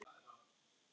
Það þótti honum gaman.